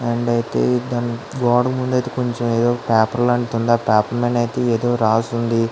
అయితే గోడ ముందు అయితే కొంచెం ఏదో పేపర్ లాంటిది ఉంది. ఆ పేపర్ మీద అయితే ఏదో రాసింది.